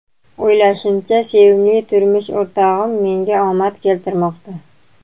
O‘ylashimcha, sevimli turmush o‘rtog‘im menga omad keltirmoqda.